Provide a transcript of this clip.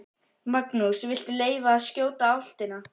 Magnús: Viltu leyfa að skjóta álftina?